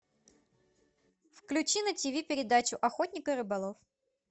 включи на ти ви передачу охотник и рыболов